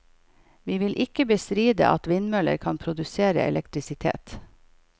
Vi vil ikke bestride at vindmøller kan produsere elektrisitet.